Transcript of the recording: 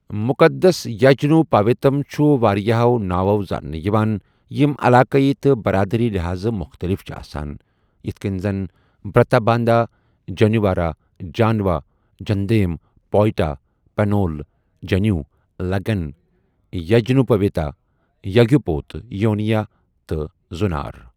مُقَدس یجنوپاویتم چھُ واریٛاہَو ناوَو زاننہٕ یِوان ، یِم علاقٲیی تہٕ برادٔری لحاظٕہ مُختٔلِف چھِ آسان، یِتھ کٔنہِ زَن بر٘تاباندھا ، جنیوارا، جانوا، جندھیم، پوئٹا، پنول، جنیو، لگٗن، یجنوپویتا، یگیوپوت، یونیا، تہٕ زٗنار۔